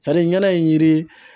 ɲana ye yiri